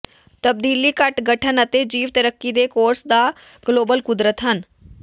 ਤਬਦੀਲੀ ਘੱਟ ਗਠਨ ਅਤੇ ਜੀਵ ਤਰੱਕੀ ਦੇ ਕੋਰਸ ਦਾ ਗਲੋਬਲ ਕੁਦਰਤ ਹਨ